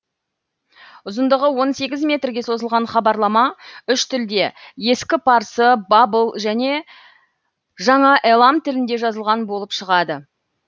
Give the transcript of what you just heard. ұзындығы он сегіз метрге созылған хабарлама үш тілде ескі парсы бабыл және жаңа элам тілінде жазылған болып шығады